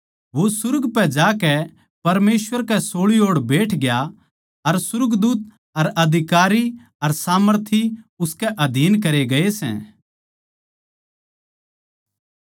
वो सुर्ग पै जाकै परमेसवर कै सोळी ओड़ बैठ गया अर सुर्गदूत अर अधिकारी अर सामर्थी उसके अधीन करे गये सै